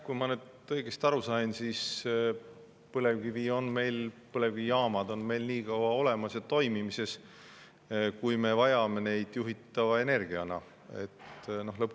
Kui ma nüüd õigesti aru sain, siis põlevkivi, põlevkivijaamad on meil nii kaua olemas ja toimivad, kui me vajame neid juhitava energia.